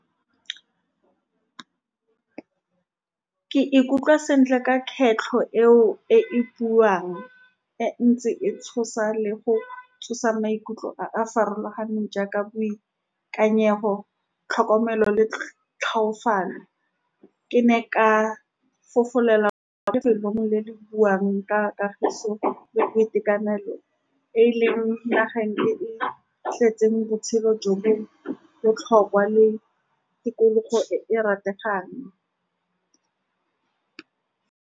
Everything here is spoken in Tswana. Ke ikutlwa sentle ka kgetlho eo, e we buang e ntse e tshosa le go tsosa maikutlo a a farologaneng jaaka boikanyego, tlhokomelo le , tlhoafalo. Ke ne ka fofela ko lefelong le le buang ka kagiso le boitekanelo, e e leng nageng e e tletseng botshelo jo bo botlhokwa le tikologo e e rategang.